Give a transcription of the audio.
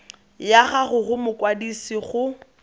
ya gago go mokwadise go